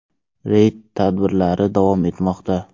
Reyd tadbirlari davom etmoqda.